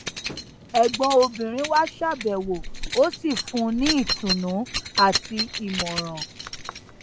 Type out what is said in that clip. ẹgbọn obìnrin wá ṣàbẹwò ó sì fún un ní ìtùnú àti ìmọràn